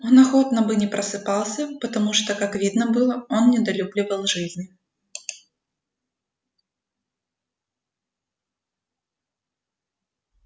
он охотно бы не просыпался потому что как видно было он недолюбливал жизни